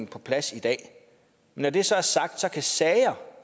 på plads i dag når det så er sagt kan sager